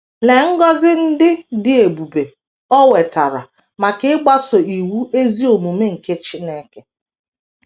Lee ngọzi ndị dị ebube o nwetara maka ịgbaso iwu ezi omume nke Chineke!